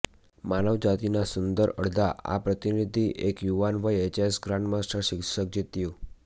માનવજાતિના સુંદર અડધા આ પ્રતિનિધિ એક યુવાન વયે ચેસ ગ્રાન્ડમાસ્ટર શીર્ષક જીત્યું